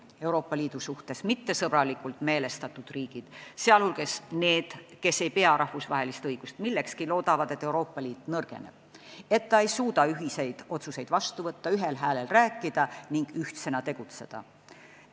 Euroopa Liidu suhtes mittesõbralikult meelestatud riigid, sh need, kes ei pea rahvusvahelist õigust millekski, loodavad, et Euroopa Liit nõrgeneb, et ta ei suuda ühiseid otsuseid vastu võtta, ühel häälel rääkida ning ühtsena tegutseda.